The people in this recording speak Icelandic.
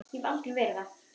Og hef alltaf verið það.